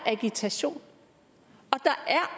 agitation